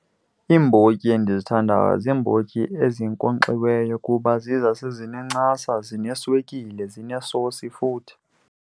Iimbotyi endizithandayo ziimbotyi ezinkonkxiweyo kuba ziza sezinencasa, zineswekile, zinesosi futhi.